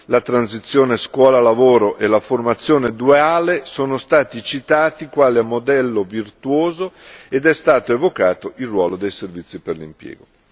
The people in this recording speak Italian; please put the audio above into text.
La transizione scuola lavoro e la formazione duale sono stati citati quale modello virtuoso ed è stato evocato il ruolo dei servizi per l'impiego.